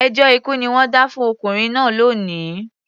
Ẹjọ́ ikú ni wọ́n dá fún ọkùnrin náà lónìí